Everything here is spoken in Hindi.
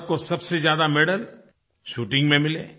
भारत को सबसे ज़्यादा मेडल शूटिंग में मिले